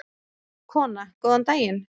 Kona: Góðan daginn.